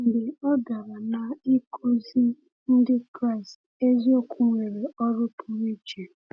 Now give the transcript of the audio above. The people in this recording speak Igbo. Mgbe ọ bịara n’ịkụzi, Ndị Kraịst eziokwu nwere ọrụ pụrụ iche.